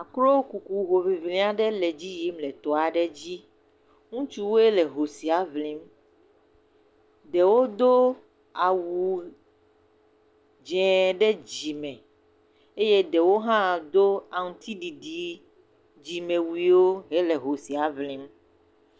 Akro kuku hoŋliŋli aɖe le edzi yim le tɔ aɖe dzi. Ŋutsuwoe le ho sia ŋlim. Ɖewo do awu dze ɖe dzime eye ɖewo hã do aŋtiɖiɖi dzimewuiwo hele ho sia ŋlim.